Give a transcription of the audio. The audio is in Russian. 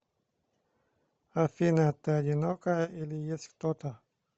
афина ты одинокая или есть кто то